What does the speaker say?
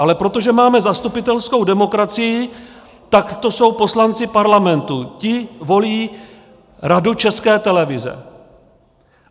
Ale protože máme zastupitelskou demokracii, tak to jsou poslanci Parlamentu, ti volí Radu České televize.